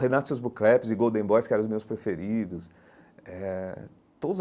Renato Sousbucleps e Golden Boys, que eram os meus preferidos eh todos.